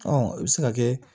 i bɛ se ka kɛ